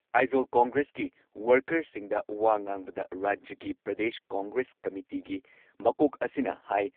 ꯑꯥꯏꯖꯣꯜ ꯀꯣꯡꯒ꯭ꯔꯦꯁꯀꯤ ꯋꯔꯀꯔꯁꯤꯡꯗ ꯋꯥ ꯉꯥꯡꯕꯗ ꯔꯥꯖ꯭ꯌꯒꯤ ꯄ꯭ꯔꯗꯦꯁ ꯀꯣꯡꯒ꯭ꯔꯦꯁ ꯀꯝꯃꯤꯇꯤꯒꯤ ꯃꯀꯣꯛ ꯑꯁꯤꯅ ꯍꯥꯏ